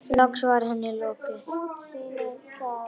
Loks var henni lokið.